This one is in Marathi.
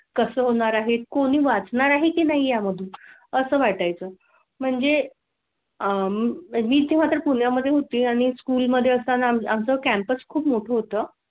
कसं होणार आहेत? कोणी वाचणार आहे की नाही या मधून असं वाटाय चं म्हणजे आह मी तुम्हाला पुण्या मध्ये होती आणि स्कूल मध्ये असताना असं कॅम्पस खूप मोठं होतं.